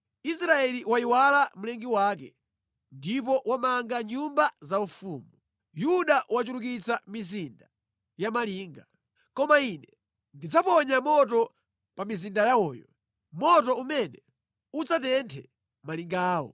Israeli wayiwala Mlengi wake ndipo wamanga nyumba zaufumu; Yuda wachulukitsa mizinda ya malinga. Koma Ine ndidzaponya moto pa mizinda yawoyo, moto umene udzatenthe malinga awo.”